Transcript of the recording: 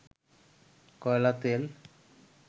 কয়লা, তেল